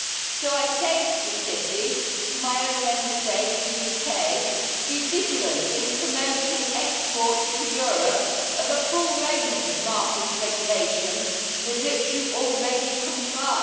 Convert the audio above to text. So I say to the City, to my own Member State, the UK be vigilant when promoting the export to Europe of a full range of market regulation with which you already comply.